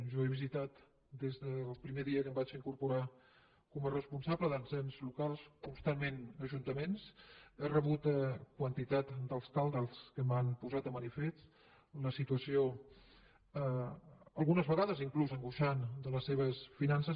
jo he visitat des del primer dia que em vaig incorporar com a responsable dels ens locals constantment ajuntaments he rebut quantitat d’alcaldes que m’han posat de manifest la situació algunes vegades inclús angoixant de les seves finances